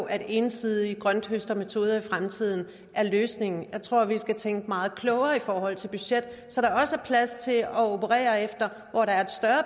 at ensidige grønthøstermetoder i fremtiden er løsningen jeg tror vi skal tænke meget klogere i forhold til budget så der også er plads til at operere efter